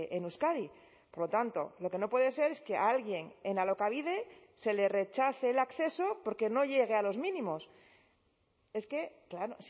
en euskadi por lo tanto lo que no puede ser es que a alguien en alokabide se le rechace el acceso porque no llegue a los mínimos es que claro